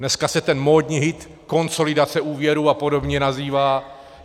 Dneska se ten módní hit konsolidace úvěrů a podobně nazývá.